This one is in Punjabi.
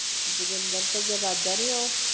ਜੋਗਿੰਦਰ ਤੇ ਅੱਗੇ ਰਾਜਾ ਨਹੀਂ ਉਹ।